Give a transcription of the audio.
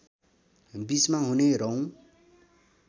बीचमा हुने रौँ